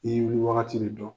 N'i bi wagati ni dɔn